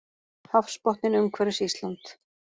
Hafsbotninn umhverfis Ísland.